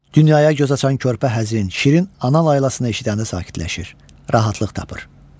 Dünyaya göz açan körpə həzin, şirin ana laylasını eşidəndə sakitləşir, rahatlıq tapır.